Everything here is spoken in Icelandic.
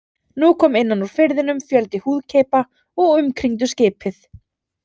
Nú kom innan úr firðinum fjöldi húðkeipa og umkringdu skipið.